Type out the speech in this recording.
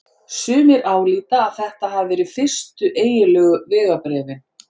Sumir álíta að þetta hafi verið fyrstu eiginlegu vegabréfin.